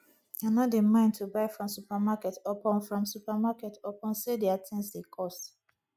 i no dey mind to buy from supermarket upon from supermarket upon sey their tins dey cost